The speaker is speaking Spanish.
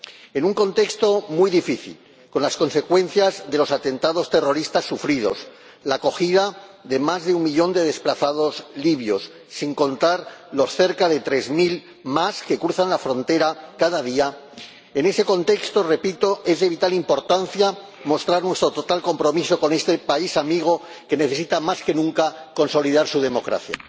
En un contexto muy difícil, con las consecuencias de los atentados terroristas sufridos, la acogida de más de un millón de desplazados libios, sin contar los cerca de tres mil más que cruzan la frontera cada día, en ese contexto —repito— es de vital importancia mostrar nuestro total compromiso con este país amigo que necesita más que nunca consolidar su democracia.